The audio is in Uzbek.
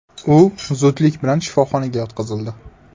U zudlik bilan shifoxonaga yotqizildi.